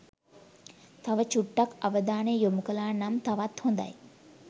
තව චුට්ටක් අවධානය යොමු කලා නම් තවත් හොඳයි